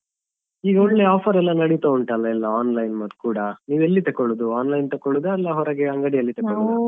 ಈಗ ಒಳ್ಳೆ offer ಎಲ್ಲ ನಡಿತಾ ಉಂಟಲ್ಲ ಎಲ್ಲ online ಅಲ್ಲಿ ಕೂಡ ನೀವೆಲ್ಲಿ ತೆಕ್ಕೊಳ್ಳುದು online ತೆಕ್ಕೊಳ್ಳುದಾ ಅಲ್ಲ ಹೊರಗೆ ಅಂಗಡಿಯಲ್ಲಿ ತೆಕ್ಕೊಳ್ಳುದಾ?